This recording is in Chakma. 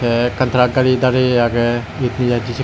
tey ekkan truck gari dareyi agey ed nejaidey sekken.